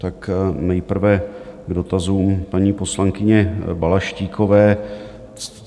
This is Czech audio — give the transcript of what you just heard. Tak nejprve k dotazům paní poslankyně Balaštíkové.